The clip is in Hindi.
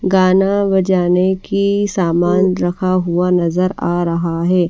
गाना बजाने की सामान रखा हुआ नजर आ रहा है।